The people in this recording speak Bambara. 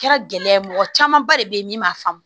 Kɛra gɛlɛya ye mɔgɔ camanba de be yen min b'a faamu